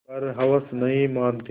पर हवस नहीं मानती